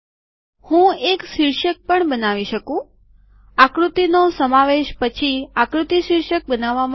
હું એક શીર્ષક પણ બનાવી શકું આકૃતિ નો સમાવેશ પછી આકૃતિ શીર્ષક બનાવવામાં આવે છે